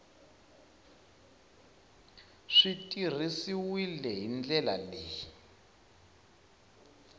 swi tirhisiwile hi ndlela leyi